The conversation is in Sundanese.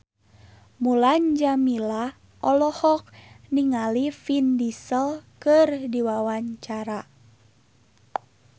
Mulan Jameela olohok ningali Vin Diesel keur diwawancara